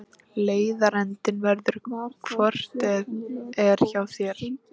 Leiðarendinn verður hvort eð er hjá þér.